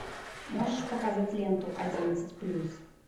можешь показать ленту одиннадцать плюс